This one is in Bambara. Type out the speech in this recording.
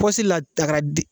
Pɔsi la